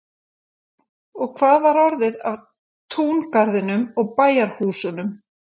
Og hvað var orðið af túngarðinum og bæjarhúsunum?